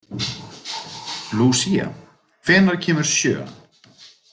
Lucia, hvenær kemur sjöan?